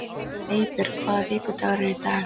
Eybjörg, hvaða vikudagur er í dag?